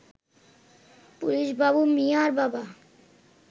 police Babu মিয়ার বাবা